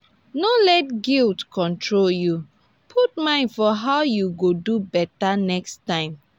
no let guilt control yu; put mind for how yu go do beta next time.